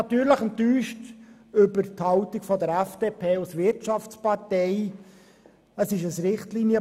Natürlich bin ich ob der Haltung der FDP als Wirtschaftspartei enttäuscht.